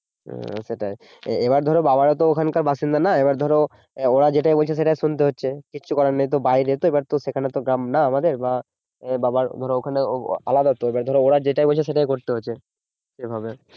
হ্যাঁ সেটাই, এবার ধরো বাবারা তো ওখানকার বাসিন্দা নয় এবার ধরো ওরা যেটা বলছে সেটাই শুনতে হচ্ছে কিছু করার নেই তো বাইরে তো ওখানে তো আমাদের গ্রাম না বা বাবার ধরো ওখানে আলাদা তো এবার ওরা যেটা বলছে সেটাই করতে হচ্ছে এইভাবে